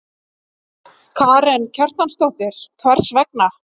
Karen Kjartansdóttir: Hvers vegna?